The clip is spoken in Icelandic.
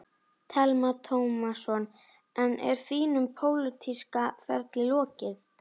Telma Tómasson: En er þínum pólitíska ferli lokið?